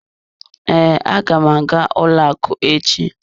Ee, aga m aga ụlọ akụ echi.